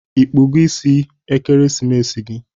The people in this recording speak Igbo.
Ịkpụgo isi Ekeremesi gi?